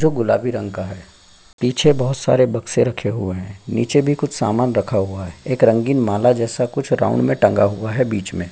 जो गुलाबी रंग का है पीछे बहुत सारे बक्से रखे हुए है नीचे भी कुछ समान रखा हुआ है एक रंगीन माला जैसा कुछ राउंड में टंगा हुआ है बीच में --